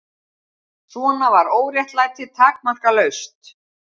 Svona var óréttlætið takmarkalaust.